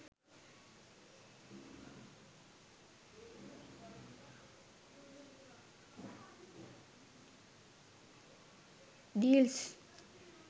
deals